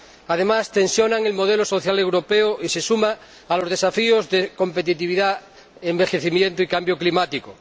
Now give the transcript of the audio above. Además, tensiona el modelo social europeo y se suma a los desafíos de competitividad, envejecimiento y cambio climático.